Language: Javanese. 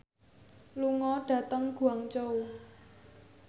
lunga dhateng Guangzhou